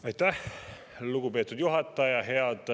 Aitäh, lugupeetud juhataja!